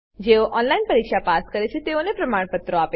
જેઓ ઓનલાઈન પરીક્ષા પાસ કરે છે તેઓને પ્રમાણપત્રો આપે છે